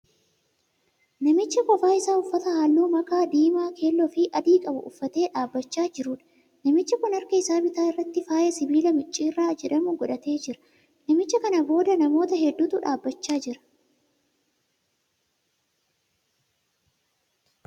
Namicha qofa isaa uffata halluu makaa diimaa, keelloo fi adii qabu uffatee dhaabbachaa jiruudha. Namichi kun harka isaa bitaa irratti faaya sibiilaa micciirraa jedhamu godhatee jira. Namicha kana booda namoota hedduutu dhaabbachaa jira.